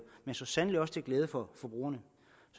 men så sandelig også til glæde for forbrugerne